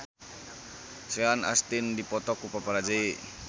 Sean Astin dipoto ku paparazi